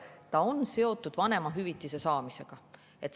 See on seotud vanemahüvitise saamisega.